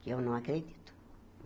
Que eu não acredito.